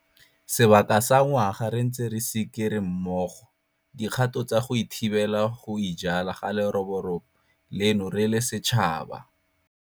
Sebaka sa ngwaga re ntse re sikere mmogo dikgato tsa go thibela go ijala ga leroborobo leno re le setšhaba.